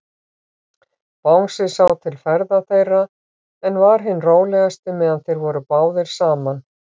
Bangsi sá til ferða þeirra, en var hinn rólegasti, meðan þeir voru báðir saman.